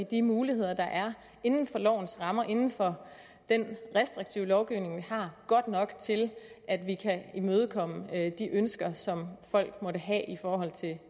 de muligheder der er inden for den restriktive lovgivning vi har godt nok til at imødekomme de ønsker som folk måtte have i forhold til